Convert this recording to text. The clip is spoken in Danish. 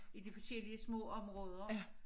I de forskellige små områder